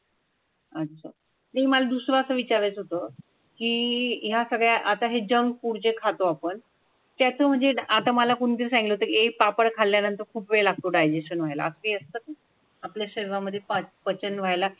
अच्छा. जि मला दुसरं विचारायचं होतं की अह ह्या सगळ्या आता हे जंक फुड खातो आपण त्याचा म्हणजे आता मला कोणत दिवसांमध्ये पापड खाल्ल्यानंतर खूप वेळ लागतो डायजेश्शन व्हायला हवी असतात आपल्या शरीरामध्ये पाच पचन व्हायला?